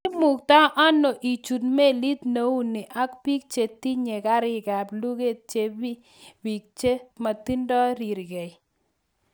"Imukto ano ichut melit neu ni ak biik che tinye kariikab luget chebi biik che motindo rirgei."